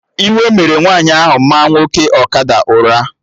Iwe mere nwaanyị ahụ maa nwoke ọkada ụra